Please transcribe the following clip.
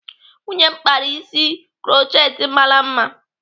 Nwunye m kpara isi krutchet mara mma.